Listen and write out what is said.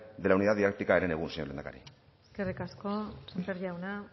de la unidad didáctica herenegun señor lehendakari eskerrik asko sémper jauna